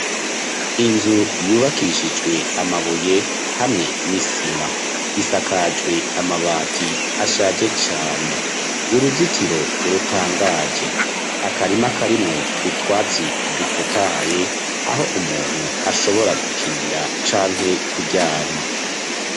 Inzu yubakishijwe amabuye hamwe n'isima, isakajwe amabati ashaje cane, uruzitiro rutangaje, akarima karimwo utwatsi dutotahaye aho umuntu ashobora gukinira canke kuryama.